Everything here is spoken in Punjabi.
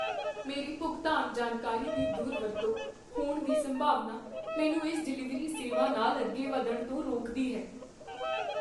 ਮੇਰੀ ਭੁਗਤਾਨ ਜਾਣਕਾਰੀ ਦੀ ਦੁਰਵਰਤੋਂ ਹੋਣ ਦੀ ਸੰਭਾਵਨਾ ਮੈਨੂੰ ਇਸ ਡਿਲੀਵਰੀ ਸੇਵਾ ਨਾਲ ਅੱਗੇ ਵਧਣ ਤੋਂ ਰੋਕਦੀ ਹੈ।